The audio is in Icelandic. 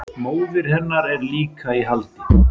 Móðir hennar er líka í haldi